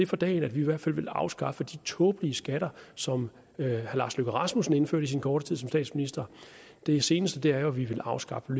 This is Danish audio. for dagen at vi i hvert fald vil afskaffe de tåbelige skatter som herre lars løkke rasmussen indførte i sin korte tid som statsminister det seneste er jo at vi vil afskaffe